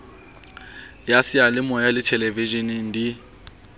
ya seyalemoya le theleveshene di